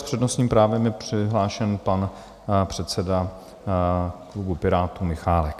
S přednostním právem je přihlášen pan předseda klubu Pirátů Michálek.